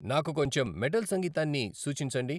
నాకు కొంచెం మెటల్ సంగీతాన్ని సూచించండి